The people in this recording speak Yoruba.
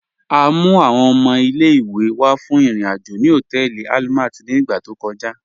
À mú àwọn ọmọ ilẹ̀-ìwé wá fún irin-ajo ni họtẹẹlì Àlmàt ni ìgbà tó kọ̀já.